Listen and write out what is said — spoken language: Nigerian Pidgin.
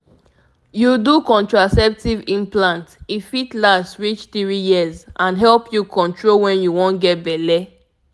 you do contraceptive implant e fit last reach three years and help you control when you wan get belle.